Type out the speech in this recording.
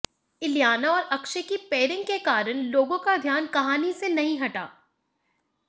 इलियाना और अक्षय की पेयरिंग के कारण लोगों का ध्यान कहानी से नहीं हटा